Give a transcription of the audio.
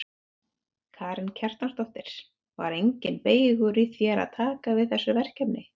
Karen Kjartansdóttir: Var enginn beygur í þér að taka við þessu verkefni?